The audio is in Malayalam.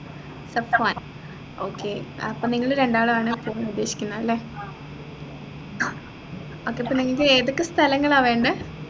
സഫ്‌വാൻ okay അപ്പൊ നിങ്ങള് രണ്ടാളും ആണ് പോകാനുദ്ദേശിക്കുന്നത് അല്ലെ okay അപ്പൊ പിന്നെ നിങ്ങക്ക് ഏതൊക്കെ സ്ഥലങ്ങളാ വേണ്ടെ